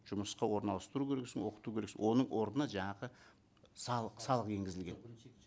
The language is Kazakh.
жұмысқа оранластыру керексің оқыту керексің оның орнына жаңағы салық салық енгізілген